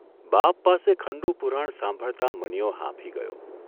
બાપ પાસે ખંડુપુરાણ સાંભળતા મનીયો હાંફી ગયો.